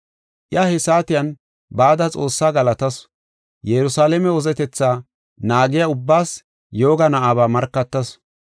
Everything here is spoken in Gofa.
Iya he saatiyan bada Xoossaa galatasu; Yerusalaame wozetetha naagiya ubbaas yooga na7aba markatasu.